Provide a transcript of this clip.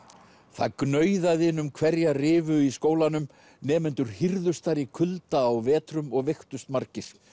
það gnauðaði inn um hverja rifu í skólanum nemendur hírðust þar í kulda á vetrum og veiktust margir